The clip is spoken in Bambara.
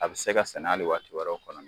A bɛ se ka sɛnɛ hali wɛrɛw kɔnɔ ni